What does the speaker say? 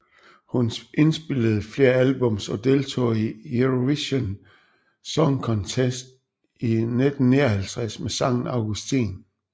Hun indspillede flere albums og deltog i Eurovision Song Contest i 1959 med sangen Augustin